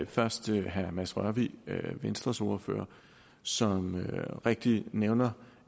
først herre mads rørvig venstres ordfører som rigtigt nævner